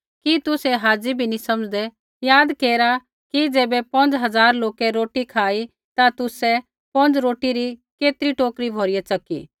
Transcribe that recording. कि तुसै हाज़ी भी नी समझ़दै याद केरा कि ज़ैबै पौंज़ हज़ार लोकै रोटी खाई ता तुसै पौंज़ रोटी री केतरी टोकरी भौरिया च़की